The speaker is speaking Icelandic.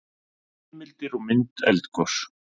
heimildir og mynd eldgos